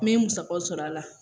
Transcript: Min musakaw sɔrɔ a la.